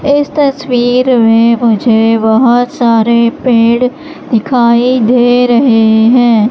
इस तस्वीर में मुझे बहोत सारे पेड़ दिखाई दे रहे हैं।